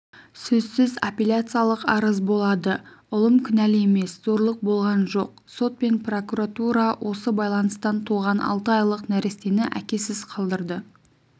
сөзсіз аппеляциялық арыз болады ұлым кінәлі емес зорлық болған жоқ сот пен прокуратура осы байланыстан туған алты айлық нәрестені әкесіз қалдырды